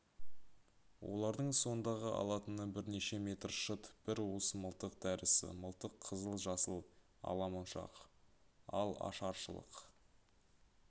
олардың сондағы алатыны бірнеше метр шыт бір уыс мылтық дәрісі мылтық қызыл-жасыл ала моншақ ал ашаршылық